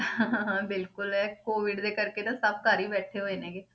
ਬਿਲਕੁਲ ਇਹ COVID ਦੇ ਕਰਕੇ ਤਾਂ ਸਭ ਘਰ ਹੀ ਬੈਠੇ ਹੋਏ ਨੇ ਗੇ।